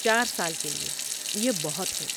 چار سال کے لئے، یہ بہت ہے